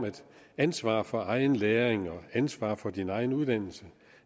ansvar for egen læring og ansvar for egen uddannelse